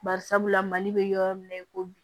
Bari sabula mali be yɔrɔ min na i ko bi